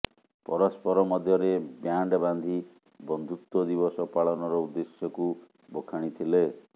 ପରସ୍ପର ମଧ୍ୟରେ ବ୍ୟାଣ୍ଡ ବାନ୍ଧି ବନ୍ଧୁତ୍ୱ ଦିବସ ପାଳନର ଉଦ୍ଦେଶ୍ୟକୁ ବଖାଣିଥିଲେ